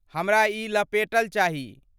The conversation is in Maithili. हमरा ई लपेटल चाही।